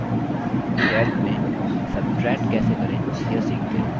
calc में subtract कैसे करें यह सीखते हैं